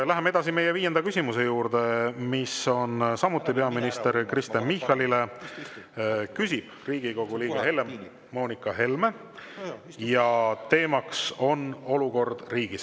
Läheme viienda küsimuse juurde, mis on samuti peaminister Kristen Michalile, küsib Riigikogu liige Helle-Moonika Helme ja teema on olukord riigis.